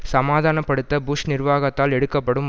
சமாதானப்படுத்த புஷ் நிர்வாகத்தால் எடுக்கப்படும்